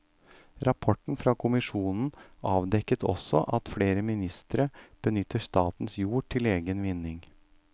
Rapporten fra kommisjonen avdekket også at flere ministre benytter statens jord til egen vinning.